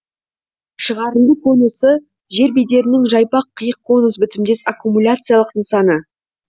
шығарынды конусы жер бедерінің жайпақ қиық конус бітімдес аккумуляциялық нысаны